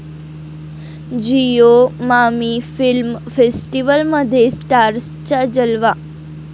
Jio MAMI film फेस्टिवलमध्ये स्टार्सचा जलवा